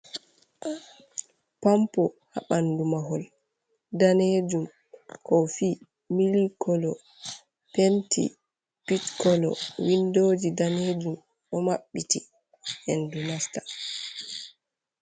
Pampo ha ɓandu mahol danejum. kofi(coffee), milk kolo, penti pitch kolo, windoji danejum ɗo maɓɓiti hendu nasta.